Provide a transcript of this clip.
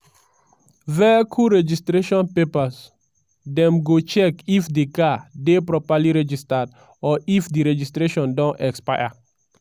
vehicle registration papers: dem go check if di car dey properly registered or if di registration don expire.